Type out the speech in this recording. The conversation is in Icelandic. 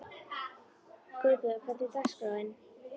Guðborg, hvernig er dagskráin?